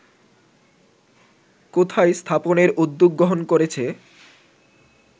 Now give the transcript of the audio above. কোথায় স্থাপনের উদ্যোগ গ্রহন করেছে